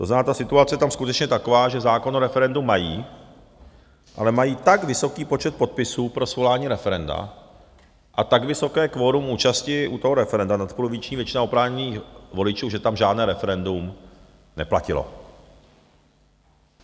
To znamená, ta situace je tam skutečně taková, že zákon o referendu mají, ale mají tak vysoký počet podpisů pro svolání referenda a tak vysoké kvorum účasti u toho referenda, nadpoloviční většina oprávněných voličů, že tam žádné referendum neplatilo.